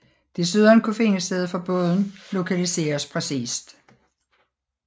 Desuden kunne findested for båden lokaliseres præcist